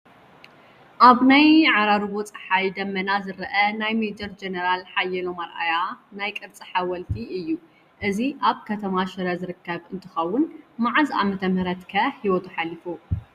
ኣብ ናይ ዓራርቦ ፀሓይ ደመና ዝረአ ናይ ሜ/ጀ/ሓየሎም ኣርኣያ ናይ ቅርፂ ሓወልቲ እዩ፡፡ እዚ ኣብ ከተማ ሽረ ዝርከብ እንትኸውን ብመዓዝ ዓ/ም ከ ሂወቱ ሓሊፉ?